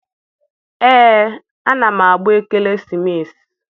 Ee, ana m agba ekeresimesi.